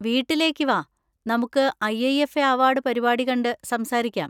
വീട്ടിലേക്ക് വാ, നമുക്ക് I. I. F. A award പരിപാടി കണ്ട് സംസാരിക്കാം.